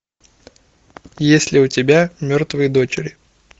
есть ли у тебя мертвые дочери